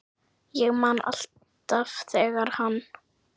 Ég man alltaf þegar hann